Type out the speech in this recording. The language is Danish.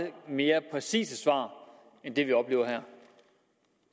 mere præcise svar end det vi oplever her